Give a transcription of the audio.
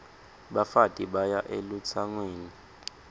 bafati baya elutsangweni